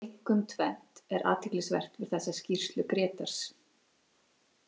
Einkum tvennt er athyglisvert við þessa skýrslu Grétars.